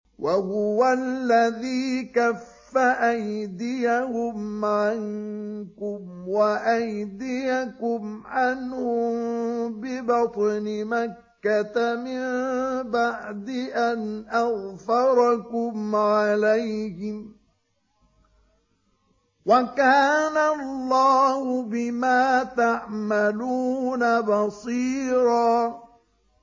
وَهُوَ الَّذِي كَفَّ أَيْدِيَهُمْ عَنكُمْ وَأَيْدِيَكُمْ عَنْهُم بِبَطْنِ مَكَّةَ مِن بَعْدِ أَنْ أَظْفَرَكُمْ عَلَيْهِمْ ۚ وَكَانَ اللَّهُ بِمَا تَعْمَلُونَ بَصِيرًا